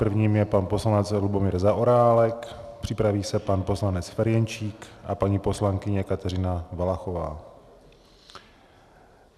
Prvním je pan poslanec Lubomír Zaorálek, připraví se pan poslanec Ferjenčík a paní poslankyně Kateřina Valachová.